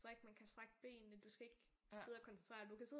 Strikke man kan strække benene du skal ikke sidde og koncentrere dig du kan sidde og